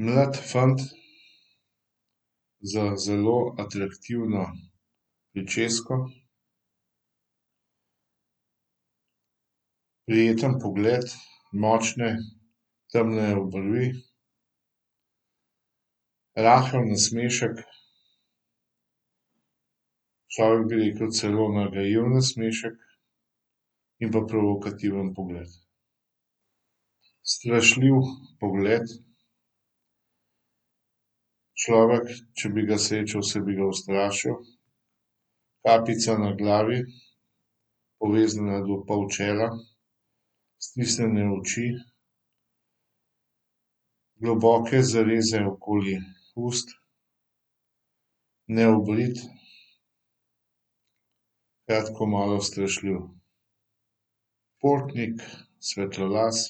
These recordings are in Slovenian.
Mlad fant z zelo atraktivno pričesko. Prijeten pogled, močne, temne obrvi. Rahel nasmešek, človek bi rekel celo nagajiv nasmešek, in pa provokativen pogled. Strašljiv pogled, človek, če bi ga srečal, se bi ga ustrašil. Kapica na glavi, poveznjena do pol čela, stisnjene oči, globoke zareze okoli ust. Neobrit. Kratko malo, strašljiv. Športnik, svetlolas.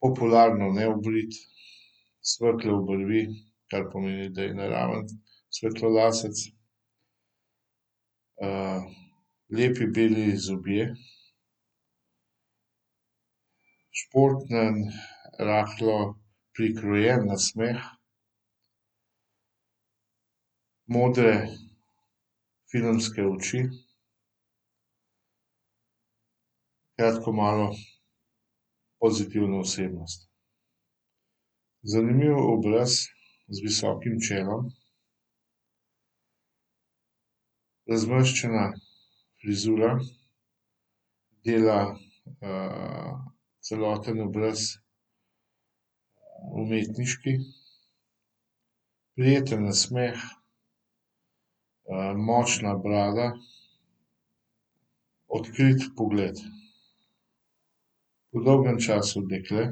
Popularno neobrit, svetle obrvi, kar pomeni, da je naraven svetlolasec. lepi beli zobje. Športen, rahlo prikrojen nasmeh. Modre filmske oči. Kratko malo, pozitivna osebnost. Zanimiv obraz z visokim čelom. Razmrščena frizura, dela, celoten obraz umetniški. Prijeten nasmeh, močna brada, odkrit pogled. Po dolgem času dekle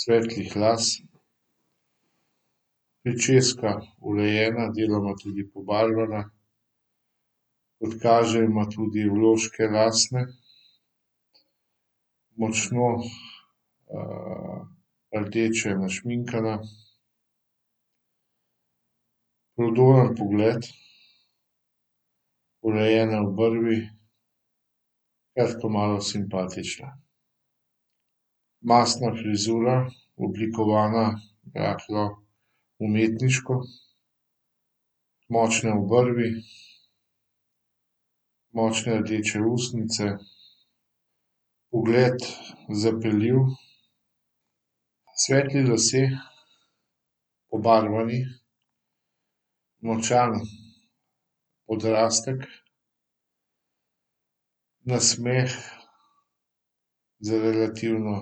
svetlih las. Pričeska urejena, deloma tudi pobarvana. Kot kaže, ima tudi vložke lasne. Močno, rdeče našminkana. Prodoren pogled, urejene obrvi, kratko malo, simpatična. Mastna frizura, oblikovana rahlo umetniško. Močne obrvi, močne rdeče ustnice, pogled zapeljiv. Svetli lasje, pobarvani, močan odrastek. Nasmeh z relativno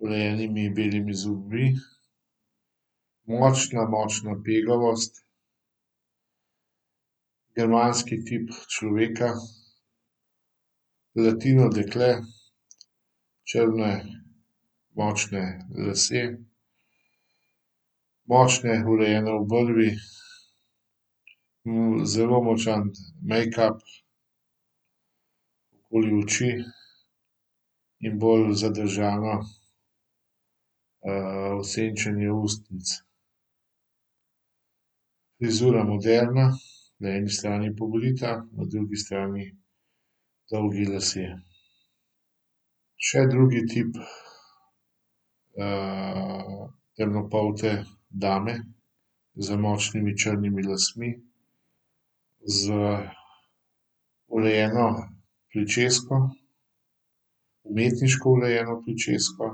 urejenimi belimi zobmi. Močna, močna pegavost. Germanski tip človeka. Latino dekle, črni močni lasje. Močne, urejene obrvi, zelo močan mejkap okoli oči in bolj zadržano, osenčenje ustnic. Frizura moderna, na eni strani pobrita, na drugi strani dolgi lasje. Še drugi tip, temnopolte dame z močnimi črnimi lasmi. Z urejeno pričesko, umetniško urejeno pričesko.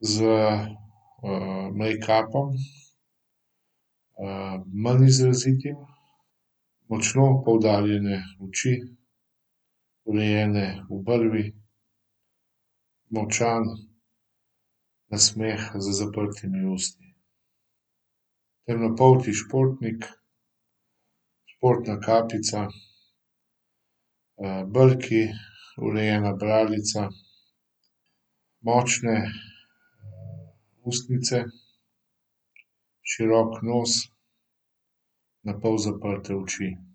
Z, mejkapom, manj izrazitim. Močno poudarjene oči, urejene obrvi, močan nasmeh z zaprtimi usti. Temnopolti športnik. Športna kapica, brki, urejena bradica, močne ustnice, širok nos, na pol zaprte oči.